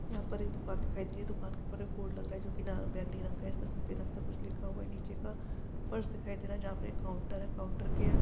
यहां पर एक दुकान दिखाई दे रहा है। ये दुकान के ऊपर बोर्ड लग रहा है। जो की ना बैगनी रंग का है। इसमें सफेद रंग का कुछ लिखा हुआ है। नीचे का दिखाई दे रहा है। जहां पर एक काउंटर है। काउंटर के--